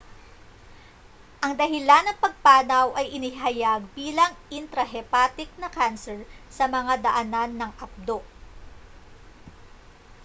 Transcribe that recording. ang dahilan ng pagpanaw ay inihayag bilang intrahepatic na kanser sa mga daanan ng apdo